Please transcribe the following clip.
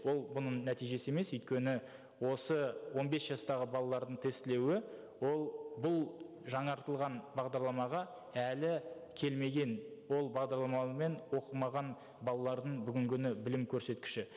ол бұның нәтижесі емес өйткені осы он бес жастағы балалардың тестілеуі бұл жаңартылған бағдарламаға әлі келмеген ол бағдарламамен оқымаған балалардың бүгінгі күні білім көрсеткіші